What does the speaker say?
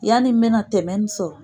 Yanni mɛna tɛmɛ nin sɔrɔ.